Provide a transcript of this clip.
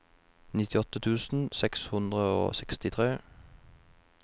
nittiåtte tusen seks hundre og sekstitre